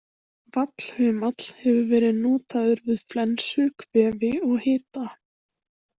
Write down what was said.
Vallhumall hefur verið notaður við flensu, kvefi og hita.